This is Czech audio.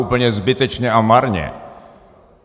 Úplně zbytečně a marně.